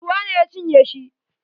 Ruwa ne ya cinye shi.